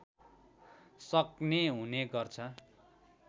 सक्ने हुने गर्छ